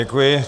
Děkuji.